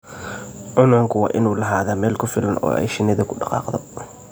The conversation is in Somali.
Cuncunku waa inuu lahaadaa meel ku filan oo ay shinnidu ku dhaqaaqdo.